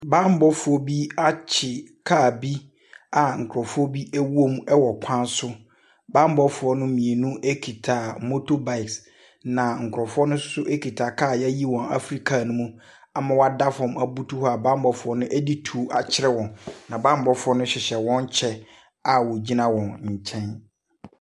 Bammɔfoɔ bi akye kaa bi a nkurɔfoɔ bi wom wɔ kwan so. Bammɔfoɔ no mmienu kita motorbikes, na nkurɔfoɔ no nso kita kaa a wɔayi wɔn afiri kaa no mu ama wɔada fam abutu hɔ a bammɔfoɔ no de tuo akyerɛ wɔn, na bammɔ =foɔ no hyehyɛ wɔn kyɛ a wɔgyina wɔn nkyɛn.